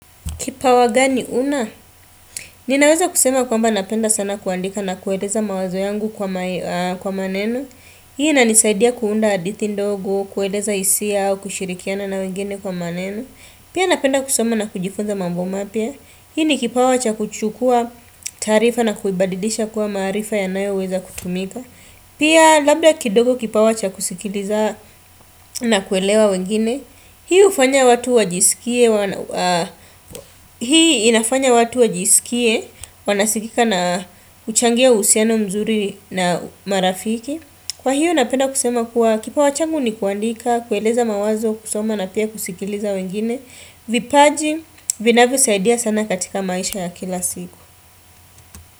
Kipawa gani una? Ninaweza kusema kwamba napenda sana kuandika na kueleza mawazo yangu kwa maneno. Hii na inisaidia kuunda hadithi ndogo, kueleza hisia au kushirikiana na wengine kwa maneno. Pia napenda kusoma na kujifunza mambo mapya. Hii ni kipawa wacha kuchukua taarifa na kuibadilisha kuwa maarifa yanayoweza kutumika. Pia labda kidogo kipawa wacha kusikiliza na kuelewa wengine. Hii hufanya watu wajisikie. Hii inafanya watu wajisikie Wanasikika na huchangia uhusiano mzuri na marafiki Kwa hiyo napenda kusema kuwa Kipawa changu ni kuandika, kueleza mawazo, kusoma na pia kusikiliza wengine vipaji, vinavyosaidia sana katika maisha ya kila siku.